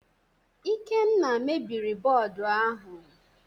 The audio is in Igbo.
Ikenna mebiri bọọdụ ahụ